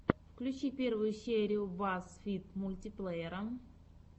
включи первую серию базз фид мультиплеера